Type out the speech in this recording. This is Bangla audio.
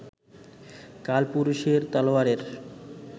কালপুরুষের তলোয়ারের